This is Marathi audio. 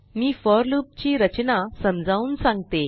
मी फोर लूप ची रचना समजावून सांगते